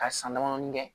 Ka san damadɔnin kɛ